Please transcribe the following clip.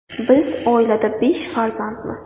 Biz oilada besh farzandmiz.